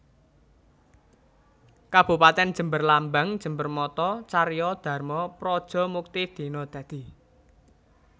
Kabupatèn JemberLambang JemberMotto Carya Dharma Praja Mukti Dina Dadi